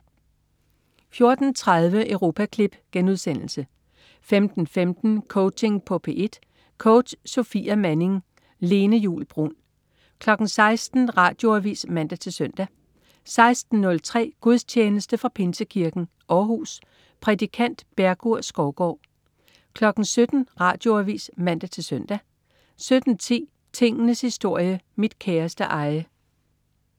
14.30 Europaklip* 15.15 Coaching på P1. Coach: Sofia Manning. Lene Juul Bruun 16.00 Radioavis (man-søn) 16.03 Gudstjeneste fra Pinsekirken, Århus. Prædikant: Bergur Skovgaard 17.00 Radioavis (man-søn) 17.10 Tingenes historie. Mit kæreste eje